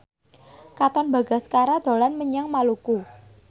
Katon Bagaskara dolan menyang Maluku